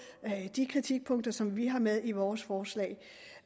de kritikpunkter som vi har med i vores forslag